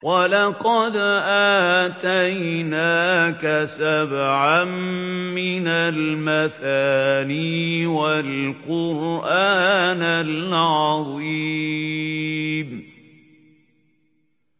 وَلَقَدْ آتَيْنَاكَ سَبْعًا مِّنَ الْمَثَانِي وَالْقُرْآنَ الْعَظِيمَ